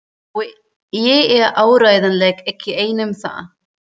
Og ég er áreiðanlega ekki einn um það.